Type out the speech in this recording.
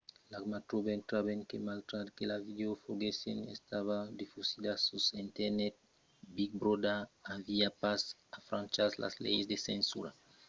l'acma trobèt tanben que malgrat que la vidèo foguèsse estada difusida sus internet big brother aviá pas enfranchas las leis de censura de contengut en linha estent que los mèdias èran pas estat emmagazinats sul sit web de big brother